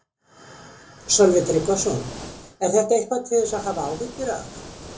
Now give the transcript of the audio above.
Sölvi Tryggvason: Er þetta eitthvað til þess að hafa áhyggjur af?